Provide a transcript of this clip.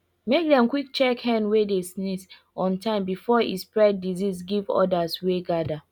make dem quick check hen wey dey sneeze on time before e spread disease give odas wey gather